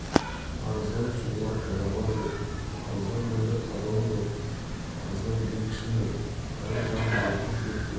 парыздан сұңғыла пайғамбар жоқ парыздан мөлдір тазалық жоқ парыздан биік шың жоқ парыз жан рухы жүректердің